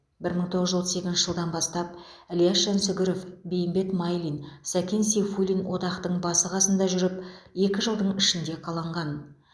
бір мың тоғыз жүз отыз екінші жылдан бастап ілияс жансүгіров бейімбет майлин сәкен сейфуллин одақтың басы қасында жүріп екі жылдың ішінде қаланған